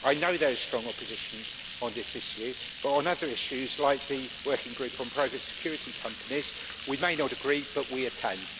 I know there is strong opposition on this issue, but on other issues, like the working group on private security companies, we may not agree but we attend.